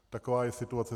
Taková je situace.